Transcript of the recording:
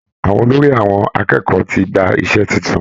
Àwọn olórí àwọn akẹ́kọ̀ọ́ tí gba ìṣe titun.